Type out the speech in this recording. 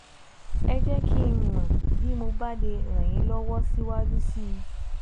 Ẹ jẹ́ kí n mọ̀ bí mo bá lè ràn yín lọ́wọ́ síwájú sí i